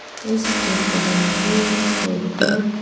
इस चित्र में विद्यम--